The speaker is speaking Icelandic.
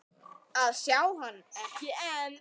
að sjá hann, ekki enn.